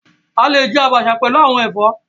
A lè jẹ abacha pẹlú àwọn ẹfọ.